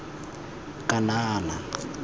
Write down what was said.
kanana